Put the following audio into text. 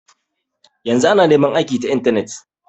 Yanzu ana neman aiki ta intanet.